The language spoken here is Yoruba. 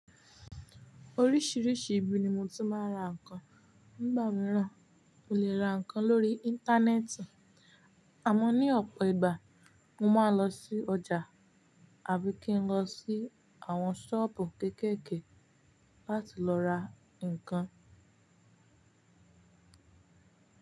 Oríṣìíríṣìí ibi ni mo ti máa ń ra ǹkan. Ní ìgbà mìíràn, mo lè ra ǹkan lórí Íńtánẹ́ẹ̀tì. Àmọ́ ní ọ̀pọ̀ ìgbà, mo máa ń lọ sí ọjà àbí kí n lọ sí àwọn ṣọ́ọ̀bù kéékèèké láti lọ ra ǹkan.